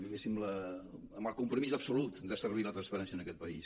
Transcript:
diguéssim amb el compromís absolut de servir la transparència en aquest país